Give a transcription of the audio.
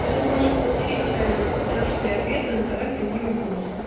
если хочешь получить точный ответ то задавай прямые вопросы